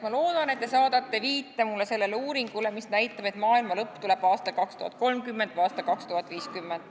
Ma loodan, et te saadate mulle viite sellele uuringule, mis näitab, et maailma lõpp tuleb aastal 2030 või aastal 2050.